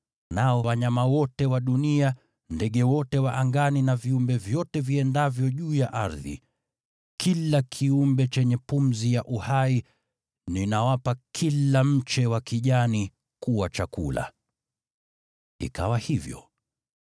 Nao wanyama wote wa dunia, ndege wote wa angani, na viumbe vyote viendavyo juu ya ardhi: yaani kila kiumbe chenye pumzi ya uhai, ninawapa kila mche wa kijani kuwa chakula.” Ikawa hivyo.